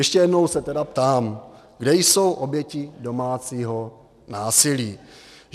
Ještě jednou se tedy ptám - kde jsou oběti domácího násilí?